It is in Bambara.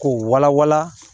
K'o wala wala